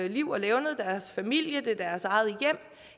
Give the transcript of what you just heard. liv og levned deres familie deres eget